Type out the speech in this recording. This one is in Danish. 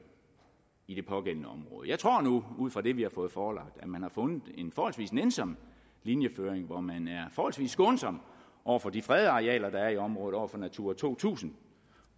i det pågældende område jeg tror nu ud fra det vi har fået forelagt at man har fundet en forholdsvis nænsom linjeføring hvor man er forholdsvis skånsom over for de fredede arealer der er i området over for natura to tusind